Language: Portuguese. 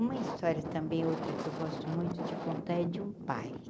Uma história também outra que eu gosto muito de contar é de um pai.